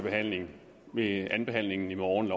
behandling ved andenbehandlingen i morgen